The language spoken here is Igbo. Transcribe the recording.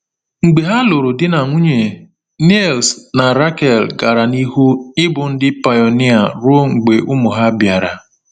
Mgbe ha lụrụ di na nwunye, Niels na Rakel gara n’ihu ịbụ ndị pionia ruo mgbe ụmụ ha bịara.